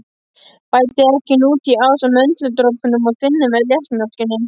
Bætið egginu út í ásamt möndludropunum og þynnið með léttmjólkinni.